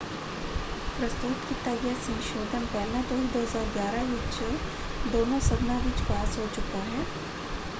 ਪ੍ਰਸਤੁਤ ਕੀਤਾ ਗਿਆ ਸੰਸ਼ੋਧਨ ਪਹਿਲਾਂ ਤੋਂ ਹੀ 2011 ਵਿੱਚ ਦੋਨੋਂ ਸਦਨਾਂ ਵਿੱਚ ਪਾਸ ਹੋ ਚੁੱਕਾ ਹੈ।